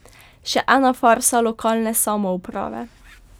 Še ena farsa lokalne samouprave.